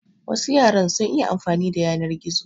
Wasu yaran sun iya amfani da yanar gizo.